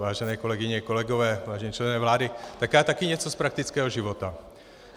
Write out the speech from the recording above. Vážené kolegyně, kolegové, vážení členové vlády, tak já taky něco z praktického života.